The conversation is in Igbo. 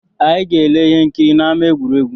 Anyị ga-ele ihe nkiri n’ama egwuregwu